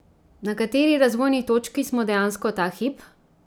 Na kateri razvojni točki smo dejansko ta hip?